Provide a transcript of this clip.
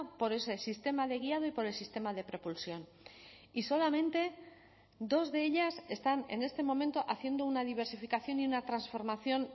por ese sistema de guiado y por el sistema de propulsión y solamente dos de ellas están en este momento haciendo una diversificación y una transformación